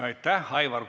Aitäh!